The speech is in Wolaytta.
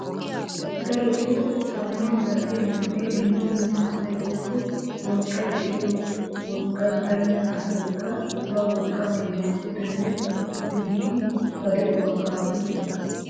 Darotto kataman zal'iyaa man'ee dumma dumma asay woykko wolqqay de'iyoy wolqqay baynna asaykka ba wolqqaa keena pudene duge giidi ba de'uwaa kaafiyo sohuwaa.